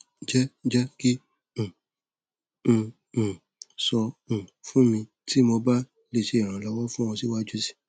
jẹ jẹ ki um n um sọ um fun mi ti mo ba le ṣe iranlọwọ fun ọ siwaju sii